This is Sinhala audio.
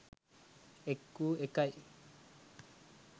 එක් වූ එකයි.